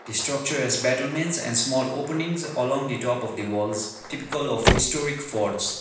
the structure as batermans and small openings along the top of the walls typical of historic forts.